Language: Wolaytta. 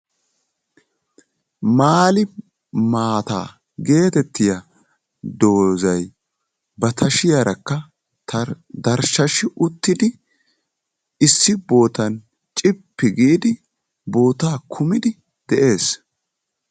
Maali maataa getettiyaa doozay ba tashshiyaarakka darshshashi uttidi issi bootan cippi giidi bootaa kumidi de'ees.